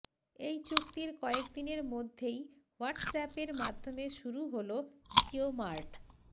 এই চুক্তির কয়েক দিনের মধ্যেই হোয়াটসঅ্যাপের মাধ্যমে শুরু হল জিওমার্ট